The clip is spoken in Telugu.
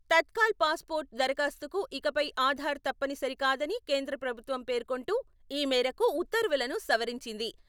తత్కాల్ పాస్పోర్టు దరఖాస్తుకు ఇకపై ఆధార్ తప్పని సరికాదని కేంద్ర ప్రభుత్వం పేర్కొంటూ ఈ మేరకు ఉత్తర్వులను సవరించింది.